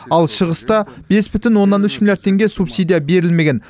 ал шығыста бес бүтін оннан үш миллиард теңге субсидия берілмеген